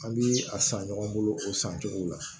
An bi a san ɲɔgɔn bolo o san cogo la